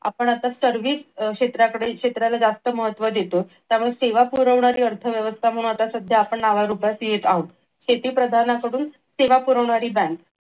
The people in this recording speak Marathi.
आपण आता सर्वे अह क्षेत्राकडे क्षेत्राला जास्त महत्व देतो त्यामुळे सेवा पुरवणारी अर्थव्यवस्था म्हणून आत्ता सध्या आपण नावारूपास येत आहोत. शेतीप्रधान कडून सेवा पुरवणारी बँक